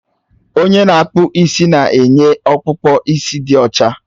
Onye na-akpụ isi na-enye ọkpụkpụ isi dị ọcha